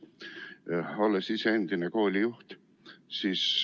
Olen ise endine koolijuht.